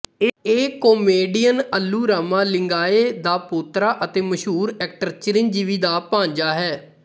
ਇਹ ਕਮੇਡੀਅਨ ਅੱਲੂ ਰਾਮਾ ਲਿੰਗਾਇਹ ਦਾ ਪੋਤਰਾ ਅਤੇ ਮਸ਼ਹੂਰ ਐਕਟਰ ਚਿਰੰਜੀਵੀ ਦਾ ਭਾਣਜਾ ਹੈ